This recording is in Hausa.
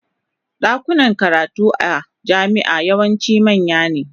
Dakunan karatu a jami'a yawanci manya ne.